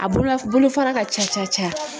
A bolola bolofara ka ca ca ca.